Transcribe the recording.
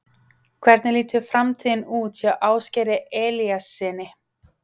Hvernig lítur framtíðin út hjá Ásgeiri Elíassyni?